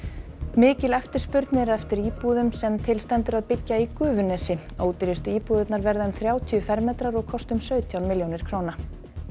mikil eftirspurn er eftir íbúðum sem til stendur að byggja í Gufunesi ódýrustu íbúðirnar verða um þrjátíu fermetrar og kosta um sautján milljónir króna